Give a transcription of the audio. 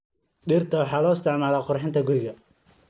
Dhirta waxaa loo isticmaalaa qurxinta guriga.